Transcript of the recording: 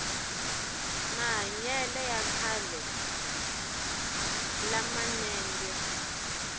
mahanyele ya khale la manenge